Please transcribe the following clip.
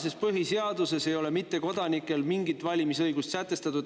Tänases põhiseaduses ei ole mittekodanikele mingit valimisõigust sätestatud.